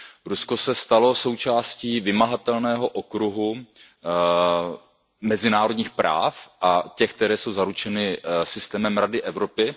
Rusko se stalo součástí vymahatelného okruhu mezinárodních práv a těch, které jsou zaručeny systémem Rady Evropy.